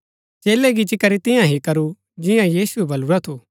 चेलै गिच्ची करी तियां ही करू जिंआ यीशुऐ बलुरा थु